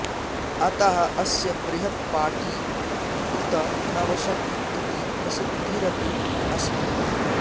अतः अस्य बृहत् पाटी उत नवशति इति प्रसिद्धिरपि अस्ति